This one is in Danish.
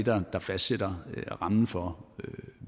der fastsætter rammen for